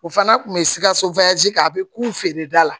O fana kun bɛ sikaso kɛ a bɛ k'u feere da la